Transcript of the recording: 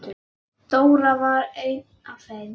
Dóri var einn af þeim.